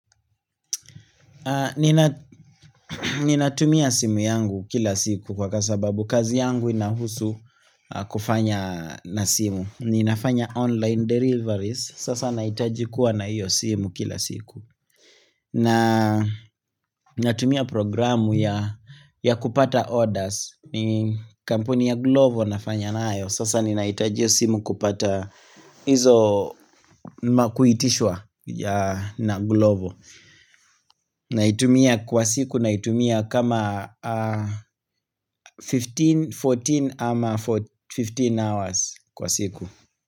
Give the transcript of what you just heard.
Ninatumia simu yangu kila siku kwa sababu kazi yangu inahusu kufanya na simu. Ninafanya online deliveries, sasa nahitaji kuwa na hiyo simu kila siku na natumia programu ya ya kupata orders, ni kampuni ya glovo nafanya nayo sasa ninahitaji hiyo simu kupata hizo ma kuitishwa ya na glovo Naitumia kwa siku naitumia kama 15, 14 ama for 15 hours kwa siku.